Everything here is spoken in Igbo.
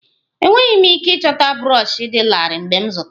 Enweghị m ike ịchọta brọshi dị larịị m zụtara